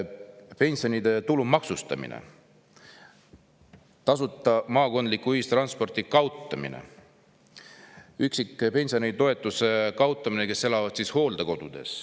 Pensionide tulumaksustamine ja tasuta maakondliku ühistranspordi kaotamine; hooldekodus üksi elava pensionäri toetuse kaotamine.